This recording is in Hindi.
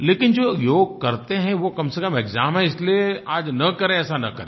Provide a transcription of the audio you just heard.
लेकिन जो योग करते हैं वो कम से कम एक्साम है इसलिए आज न करें ऐसा न करें